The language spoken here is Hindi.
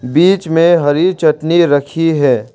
बीच में हरी चटनी रखी है।